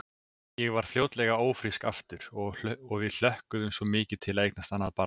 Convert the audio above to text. Ég varð fljótlega ófrísk aftur og við hlökkuðum svo mikið til að eignast annað barn.